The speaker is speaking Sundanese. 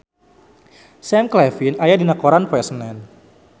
Sam Claflin aya dina koran poe Senen